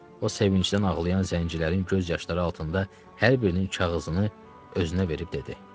O sevinclə ağlayan zəncirlərin göz yaşları altında hər birinin kağızını özünə verib dedi: